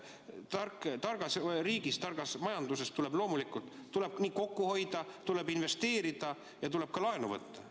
Juttu oli sellest, et targas riigis, targas majanduses tuleb kokku hoida, tuleb investeerida ja tuleb ka laenu võtta.